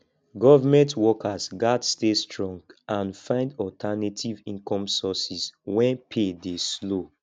government workers gats stay strong and find alternative income sources wen pay dey slow